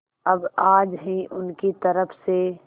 अब आज ही उनकी तरफ से